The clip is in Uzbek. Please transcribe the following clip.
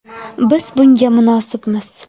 Biz bunga munosibmiz.